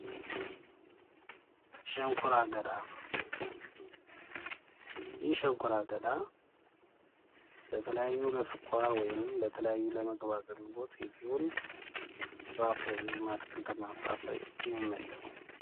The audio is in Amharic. ሸንኮራ አገዳ ይህ ሸንኮራ አገዳ ለተለያዩ ለስኳር ወይም ወይም ለምግብ አገልግሎት የሚውል ፍራፍሬ ወይም ከአትክልትና ፍራፍሬ የሚመደብ ነው።